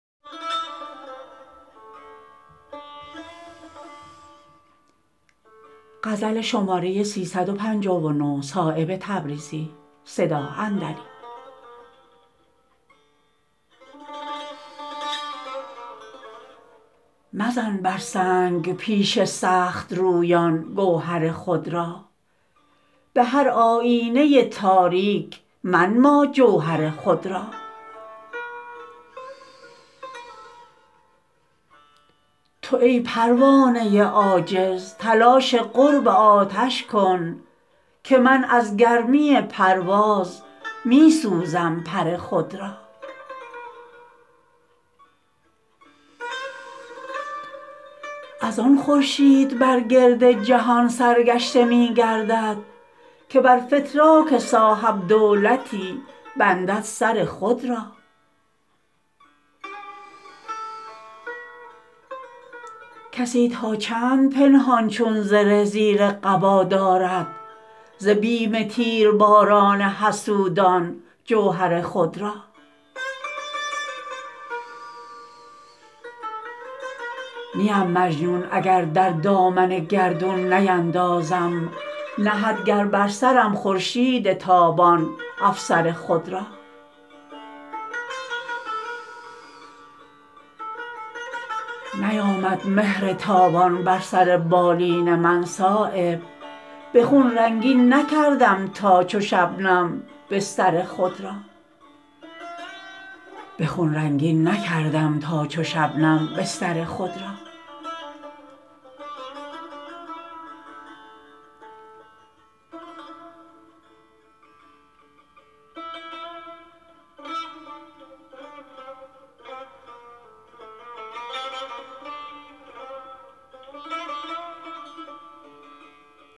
مزن بر سنگ پیش سخت رویان گوهر خود را به هر آیینه تاریک منما جوهر خود را تو ای پروانه عاجز تلاش قرب آتش کن که من از گرمی پرواز می سوزم پر خود را ازان خورشید بر گرد جهان سرگشته می گردد که بر فتراک صاحب دولتی بندد سر خود را کسی تا چند پنهان چون زره زیر قبا دارد ز بیم تیر باران حسودان جوهر خود را نیم مجنون اگر در دامن گردون نیندازم نهد گر بر سرم خورشید تابان افسر خود را نیامد مهر تابان بر سر بالین من صایب به خون رنگین نکردم تا چو شبنم بستر خود را